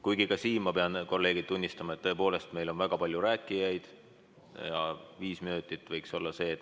Kuigi ka siin ma pean, kolleegid, tunnistama, et meil on tõepoolest palju rääkijaid ja viis minutit võiks olla see aeg.